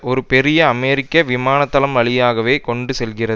ஒரு பெரிய அமெரிக்க விமானத்தளம் வழியாகவே கொண்டு செல்கிற